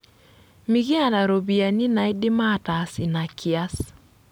Mikiata ropiyiani naidim aataas ina kias.